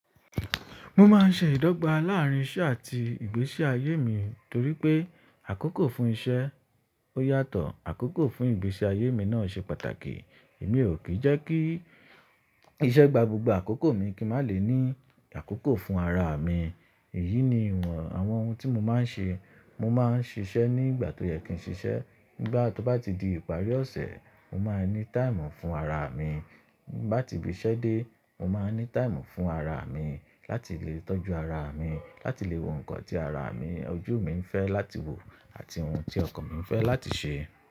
Mo máa ń ṣe ìdọ́gba láàrín iṣẹ́ àti ìgbésí ayé mi torí pé àkókò fún iṣẹ́ ó yàtọ̀, àkókò fún ìgbésí ayé mi náà ṣe pàtàkì. Èmi ò kìí jẹ́ kí iṣẹ́ gba gbogbo àkókò mi kí n má lè ní àkókò fún ara mi. Èyí ni àwọn ohun tí mo máa ń ṣe. Mo máa ń ṣiṣẹ́ ní ìgbà tó yẹ kí n ṣiṣẹ́. Nígbà tó bá ti di ìparí ọ̀sẹ̀, mo máa ní táìmù fún ara mi. Bá ti ibi iṣẹ́ dé, mo máa ní táìmù fún ara mi láti lè tọ́jú ara mi, láti lè wo ǹkan tí ara mi, ojú mi ń fẹ́ láti wo àti ohun tí ọkàn mi ń fẹ́ láti ṣe.